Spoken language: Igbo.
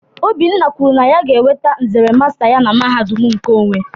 Obinna kwuru na ya ga-enweta nzere masta ya na mahadum nkeonwe